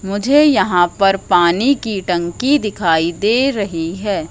मुझे यहां पर पानी की टंकी दिखाई दे रही है।